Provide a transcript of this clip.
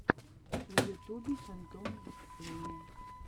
на ютубе фантом выступление